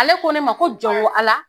Ale ko ne ma ko jɔn ko Ala